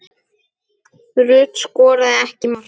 Rut skoraði ekki mark.